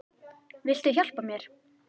Viltu hjálpa mér?